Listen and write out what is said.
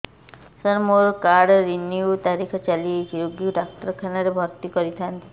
ସାର ମୋର card renew ତାରିଖ ଚାଲି ଯାଇଛି ରୋଗୀକୁ ଡାକ୍ତରଖାନା ରେ ଭର୍ତି କରିଥାନ୍ତି